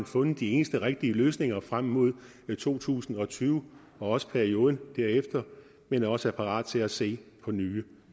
fundet de eneste rigtige løsninger frem mod to tusind og tyve og også perioden efter men også er parate til at se på nye